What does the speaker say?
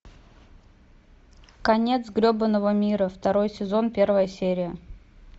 конец гребаного мира второй сезон первая серия